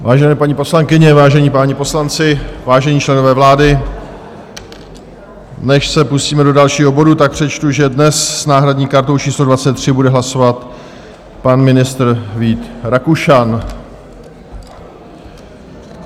Vážené paní poslankyně, vážení páni poslanci, vážení členové vlády, než se pustíme do dalšího bodu, tak přečtu, že dnes s náhradní kartou číslo 23 bude hlasovat pan ministr Vít Rakušan.